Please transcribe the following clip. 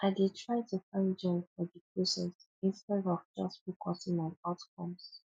i dey try to find joy for di process instead of just focusing on outcomes